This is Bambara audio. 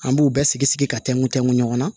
An b'u bɛɛ sigi sigi ka tɛ ntɛ ɲɔgɔn na